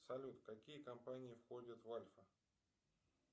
салют какие компании входят в альфа